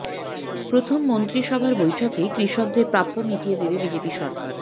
প্রথম মন্ত্রিসভার বৈঠকেই কৃষকদের প্রাপ্য মিটিয়ে দেবে বিজেপি সরকার